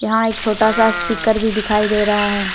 यहां एक छोटा सा स्पीकर भी दिखाई दे रहा है।